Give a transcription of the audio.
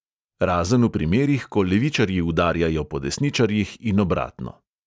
Razen v primerih, ko levičarji udarjajo po desničarjih in obratno.